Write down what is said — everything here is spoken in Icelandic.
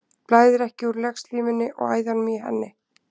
Blæðir ekki úr legslímunni og æðunum í henni?